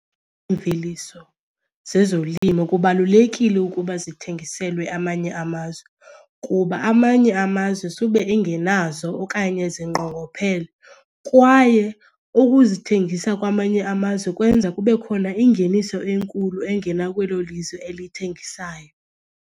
Iimveliso zezolimo kubalulekile ukuba zithengiselwe amanye amazwe kuba amanye amazwe sube engenazo okanye zinqongophele. Kwaye ukuzithengisa kwamanye amazwe kwenza kube khona ingeniso enkulu engena kwelo lizwe elithengisayo.